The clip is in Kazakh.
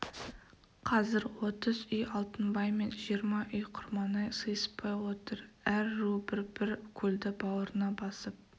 қазір отыз үй алтынбай мен жиырма үй құрманай сыйыспай отыр әр ру бір-бір көлді бауырына басып